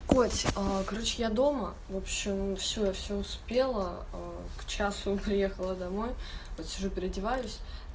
коть короче я дома в общем все я все успела к часам приехала домой вот сижу переодеваюсь